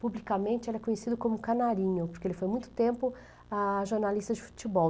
Publicamente, ele é conhecido como Canarinho, porque ele foi muito tempo, ah, jornalista de futebol.